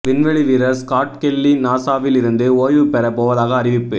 விண்வெளி வீரர் Scott Kelly நாசாவில் இருந்து ஓய்வுப்பெற போவதாக அறிவிப்பு